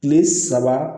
Kile saba